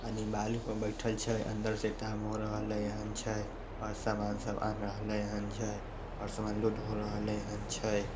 आर इ बालू पर बैठल छै अंदर से टांग सामान सब आन रहले हैन छै और सामान लोड हो रहले हैन छै।